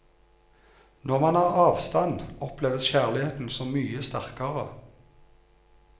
Når man har avstand, oppleves kjærligheten så mye sterkere.